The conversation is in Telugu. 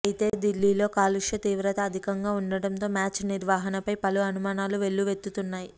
అయితే దిల్లీలో కాలుష్య తీవ్రత అధికంగా ఉండటంతో మ్యాచ్ నిర్వహణపై పలు అనుమానాలు వెల్లువెత్తుతున్నాయి